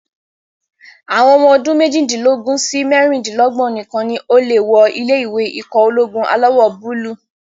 Àwọn ọmọ ọdún méjìdínlógún sí mẹ́rindínlógbọ̀n nìkan ni o lè wọ ilé-ìwé ikọ̀ ológun alawọ̀-búúlù